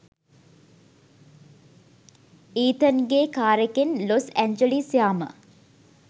ඊතන්ගෙ කාරෙකෙන් Los Angeles යාම.